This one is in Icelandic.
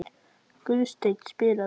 Guðstein, spilaðu lag.